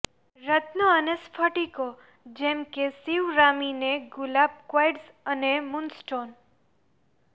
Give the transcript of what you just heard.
રત્નો અને સ્ફટિકો જેમ કે સિવરામિને ગુલાબ ક્વાર્ટઝ અને મૂનસ્ટોન